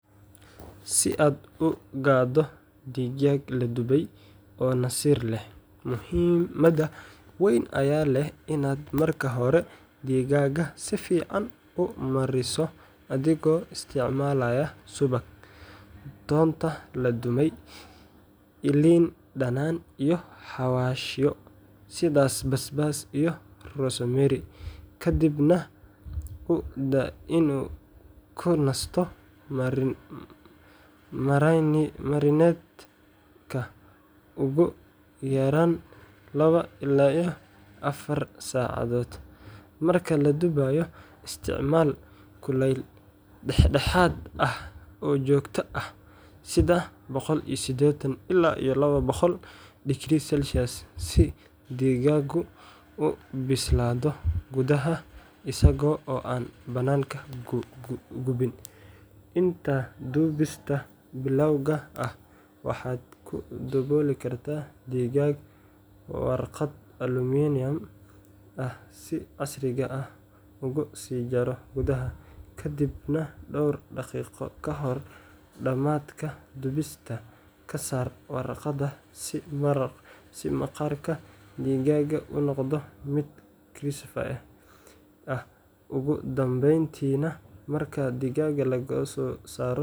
Si aad u gado digag la dubey oo nasir leh muhiimaada weyn aya leh in aad digaga si fican u mariso adhigo isticmalaya suwag tonta laduwey iyo lin danan iyo xawashiyo sithas bas bas iyo rosi mero kadiib nah kunasto marineedka ugu yaran lawa ila afar sacadhod marki laduwayo kulel dex daxad ah oo jogto ah sitha boqo iyo sidetan ila iyo lawa boqol, si deganku bisladho muda ah isaga oo an bananka ku guwin inta dubista bilawga ah waxaa ku dawoli kartaa digag warqad aluminium ah wi casriga ah u si jaro gudhaha kadiib dor daqiqo kahor damatka dubista kasar warqaada si maqarka marka digaga u noqdo miid danbenti nah marki digaga lagaso saro.